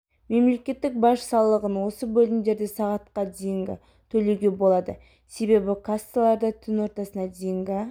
мемлекеттік баж салығын осы бөлімдерде сағатқа дейін төлеуге болады себебі кассалар да түн ортасына дейінгі